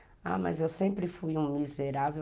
Ah, mas eu sempre fui um miserável.